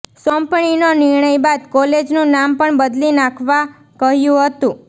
સોંપણીનો નિર્ણય બાદ કોલેજનું નામ પણ બદલી નાખવા કહ્યુ હતું